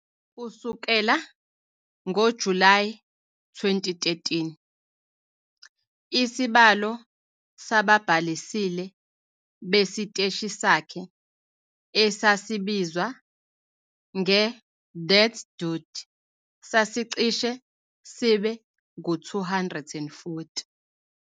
Kusukela ngoJulayi 2013, isibalo sababhalisile besiteshi sakhe, esasibizwa nge- "That-dude", sasicishe sibe ngu-240.